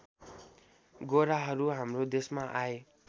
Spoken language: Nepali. गोराहरू हाम्रो देशमा आए